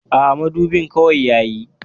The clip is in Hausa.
Aa, madubin kawai yayi